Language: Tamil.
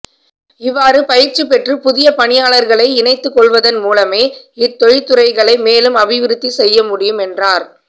இவ்வாறு பயிற்சி பெற்ற புதிய பணியாளர்களை இணைத்துக் கொள்வதன் மூலமே இத் தொழிற்றுறைகளை மேலும் அபிவிருத்தி செய்ய முடியும் என்றார்